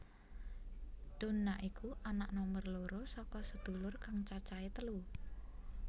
Donna iku anak nomer loro saka sedulur kang cacahe telu